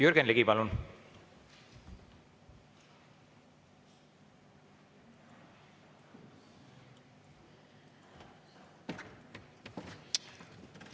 Jürgen Ligi, palun!